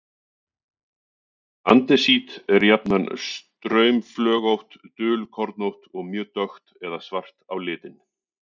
Andesít er jafnan straumflögótt, dulkornótt og mjög dökkt eða svart á litinn.